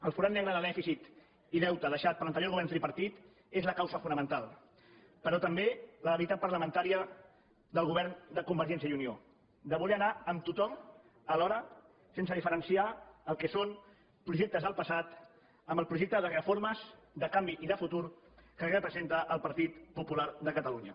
el forat negre de dèficit i deute deixat per l’anterior govern tripartit és la causa fonamental però també la debilitat parlamentària del govern de convergència i unió de voler anar amb tothom alhora sense diferenciar el que són projectes del passat amb el projecte de reformes de canvi i de futur que representa el partit popular de catalunya